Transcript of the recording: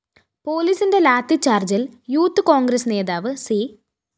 പോലീസിന്റെ ലാത്തിചാര്‍ജ്ജില്‍ യൂത്ത്‌ കോണ്‍ഗ്രസ് നേതാവ് സി